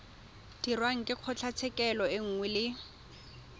dirwang ke kgotlatshekelo nngwe le